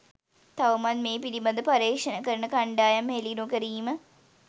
තවමත් මේ පිළිබඳ පර්යේෂණ කරන කණ්ඩායම් හෙළි නොකිරීම